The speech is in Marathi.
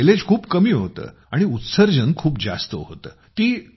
ज्याचे मायलेज खूप कमी होतं आणि उत्सर्जन खूप जास्त होतं